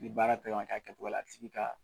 Ni baara bɛ ka kɛ a kɛ cogo la, a tigi ka